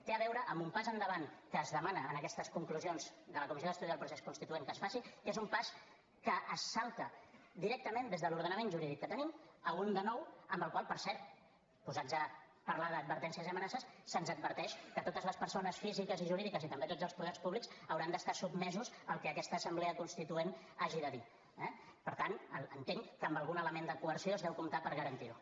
té a veure amb un pas endavant que es demana en aquestes conclusions de la comissió d’estudi del procés constituent que es faci que és un pas amb què es salta directament des de l’ordenament jurídic que tenim a un de nou en el qual per cert posats a parlar d’advertències i amenaces se’ns adverteix que totes les persones físiques i jurídiques i també tots els poders públics hauran d’estar sotmesos al que aquesta assemblea constituent hagi de dir eh per tant entenc que amb algun element de coerció es deu comptar per garantir ho